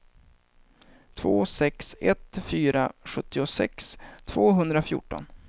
två sex ett fyra sjuttiosex tvåhundrafjorton